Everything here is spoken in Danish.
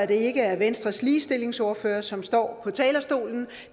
det ikke er venstres ligestillingsordfører som står på talerstolen